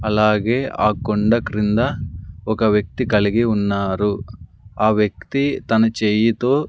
అలాగే ఆ కొండ క్రింద ఒక వ్యక్తి కలిగి ఉన్నారు ఆ వ్యక్తి తన చేయితో--